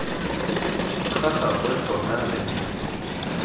ga gagwe tota re ne